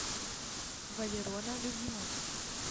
валерона любимова